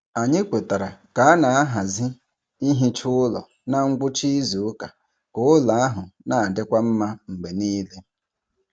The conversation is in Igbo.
Anyị kwetara ka a na-ahazi ihicha ụlọ na ngwụcha izu ụka ka ụlọ ahụ na-adịkwa mma mgbe niile.